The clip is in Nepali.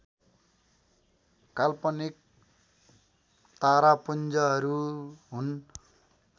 काल्पनिक तारापुञ्जहरू हुन्